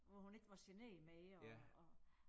Hvor hun ikke var genert mere og